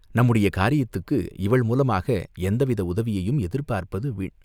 நம்முடைய காரியத்துக்கு இவள் மூலமாக எந்தவித உதவியையும் எதிர்பார்ப்பது வீண்!